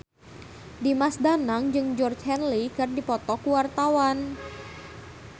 Dimas Danang jeung Georgie Henley keur dipoto ku wartawan